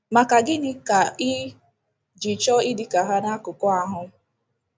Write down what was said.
Maka gịnị ka i ji chọọ ịdị ka ha n’akụkụ ahụ